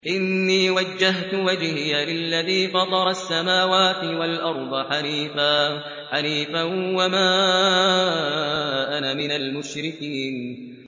إِنِّي وَجَّهْتُ وَجْهِيَ لِلَّذِي فَطَرَ السَّمَاوَاتِ وَالْأَرْضَ حَنِيفًا ۖ وَمَا أَنَا مِنَ الْمُشْرِكِينَ